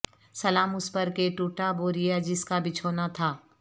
سلام اس پر کہ ٹوٹا بوریا جس کا بچھونا تھا